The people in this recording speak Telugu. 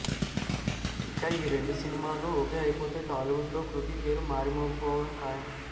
ఇక ఈ రెండు సినిమాలూ ఓకే అయిపోతే టాలీవుడ్ లో కృతి పేరు మారుమోగిపోవడం ఖాయం